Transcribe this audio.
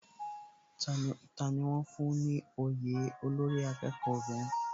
Tani wón fún ní òye olórí akẹ́kọ̀ọ́ obìnrin?